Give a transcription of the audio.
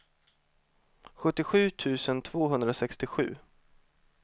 sjuttiosju tusen tvåhundrasextiosju